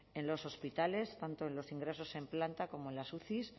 en los hospitales tanto en los ingresos en planta como en las uci